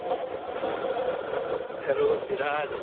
Hello Chirag